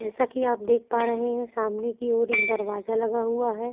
जैसा की आप देख पा रहे है सामने की ओर एक दरवाजा लगा हुआ है।